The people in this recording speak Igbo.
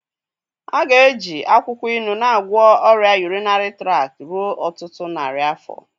A ga-eji akwụkwọ ilu na-agwọ ọrịa urinary tract ruo ọtụtụ narị afọ.